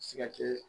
Se ka kɛ